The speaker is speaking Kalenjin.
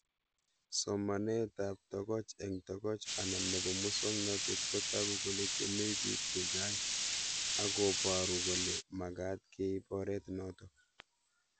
Somanet ab tokoch eng' tokoch anan nepo muswognatet kotagu kole chamei pik chechang' akoparu kole magat keip oret notok